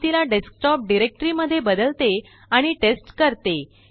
मी तिलाडेस्कटॉप डाइरेक्टरी मध्येबदलते आणिटेस्ट करते